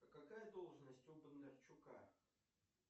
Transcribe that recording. какая должность у бондарчука